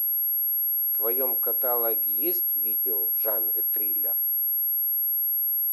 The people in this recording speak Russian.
в твоем каталоге есть видео в жанре триллер